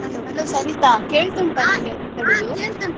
Hello hello Sarita ಕೇಳ್ತಾ ಉಂಟಾ .